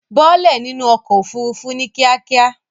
Bọ́ọ́lẹ̀ nínú ọkọ̀ òfurufú ní kíákíá.